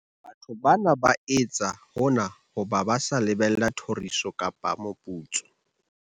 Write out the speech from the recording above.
Batho bana ba etsa hona ba sa lebella thoriso kapa moputso.